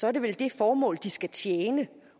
er det vel det formål de skal tjene